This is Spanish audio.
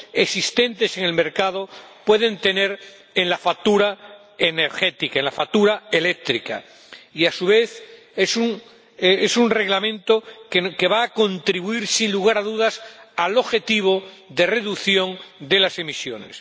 existentes en el mercado pueden tener en la factura energética, en la factura eléctrica, y, a su vez, es un Reglamento que va a contribuir, sin lugar a dudas, al objetivo de reducción de las emisiones.